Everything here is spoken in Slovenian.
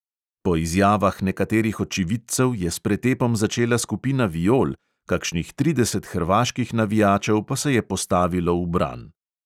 Po izjavah nekaterih očividcev je s pretepom začela skupina viol, kakšnih trideset hrvaških navijačev pa se je postavilo v bran.